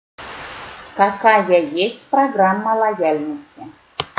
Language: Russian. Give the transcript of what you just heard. какая есть программа лояльности